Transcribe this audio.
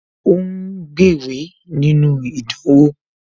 Ó ń gbéwèé nínú ìdánwò